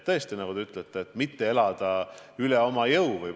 Tõesti, nagu te ütlete, ei tohi elada üle oma jõu.